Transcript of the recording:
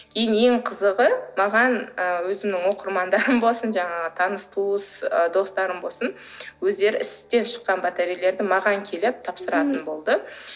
кейін ең қызығы маған ы өзімнің оқырмандарым болсын жаңағы таныс туыс ы достарым болсын өздері істен шыққан батарейлерді маған келіп тапсыратын болды